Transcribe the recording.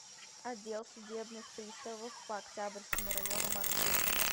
отдел судебных приставов по октябрьскому району маршрут